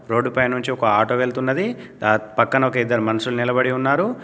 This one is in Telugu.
రోడ్డుపై నుంచి ఒక ఆటో వెళ్తున్నది. ఆ పక్కన ఒక ఇద్దరు మనుషులు నిలబడి ఉన్నారు.